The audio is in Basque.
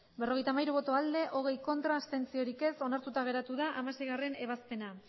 berrogeita hamairu bai hogei ez onartuta geratu da hamaseigarrena